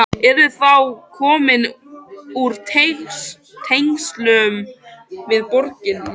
Yrðir þá komin úr tengslum við borgina.